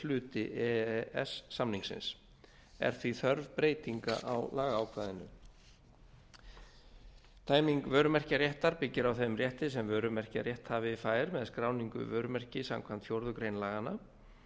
hluti e e s samningsins er því þörf breytinga á lagaákvæðinu tæming vörumerkjaréttar byggir á þeim rétti sem vörumerkjarétthafi fær með skráningu vörumerkis samkvæmt fjórðu grein laganna